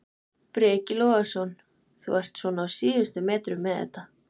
Breki Logason: Þú ert svona á síðustu metrunum með þetta?